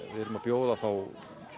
erum að bjóða þá